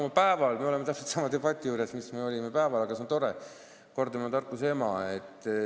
Meil on täpselt sama debatt, mis meil oli päeval, aga see on tore, kordamine on tarkuse ema.